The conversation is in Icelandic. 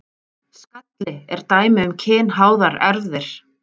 Skalli er dæmi um kynháðar erfðir.